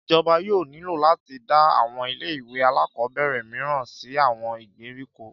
Ìjọba yóò nílò láti dá àwọn ilé ìwé alákọ̀ọ́bẹ̀rẹ̀ mìíràn sì àwọn ìgbèríko